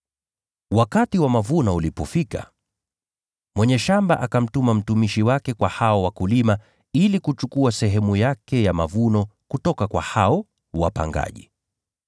Wakati wa mavuno ulipofika, mwenye shamba akamtuma mtumishi wake kwa hao wapangaji ili kuchukua sehemu yake ya mavuno ya shamba la mizabibu kutoka kwa hao wapangaji.